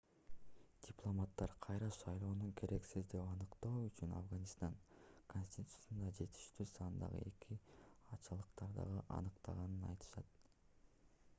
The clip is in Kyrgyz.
дипломаттар кайра шайлоону керексиз деп аныктоо үчүн афганистан конституциясында жетиштүү сандагы эки ачалыктарды аныктаганын айтышты